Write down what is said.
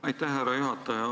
Aitäh, härra juhataja!